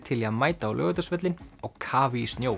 til í að mæta á Laugardalsvöllinn á kafi í snjó